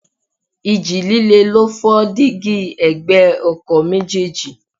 Ìji líle ló fọ́ dígí ẹ̀gbẹ́ ọkọ̀ méjèèjì.